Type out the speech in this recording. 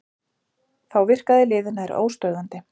Þá virkaði liðið nær óstöðvandi